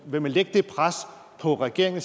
vil man lægge det pres på regeringen